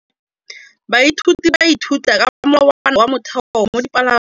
Baithuti ba ithuta ka molawana wa motheo mo dipalong.